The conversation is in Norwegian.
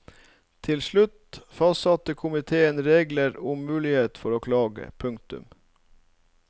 Til slutt fastsatte komiteen reglene om muligheten for å klage. punktum